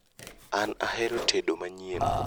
An ahero tedo manyien